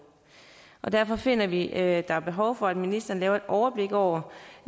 og derfor finder vi at der er behov for at ministeren laver et overblik over